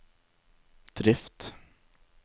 drift